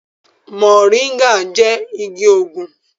Mọ̀ríngà jẹ igi òògùn